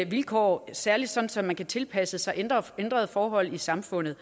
vilkår særlig så så man kan tilpasse sig ændrede forhold i samfundet